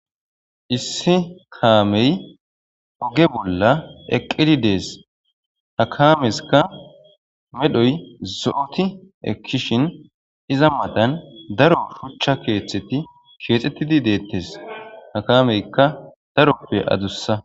Issi kaamey oge bolla eqqidi dees. Ha kaamesika medhoy zo'oti ekkishin,Iza matan daro shuchcha keetheti keexetidi deetees. Ha kaameyka daro wode adussa.